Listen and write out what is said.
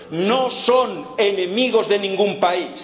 No son enemigos de ningún país